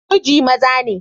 Muji maza ne.